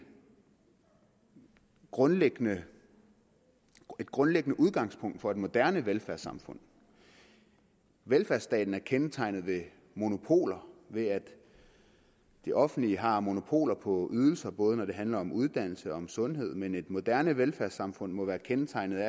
grundlæggende grundlæggende udgangspunkt for et moderne velfærdssamfund velfærdsstaten er kendetegnet ved monopoler ved at det offentlige har monopoler på ydelser både når det handler om uddannelse og om sundhed men et moderne velfærdssamfund må være kendetegnet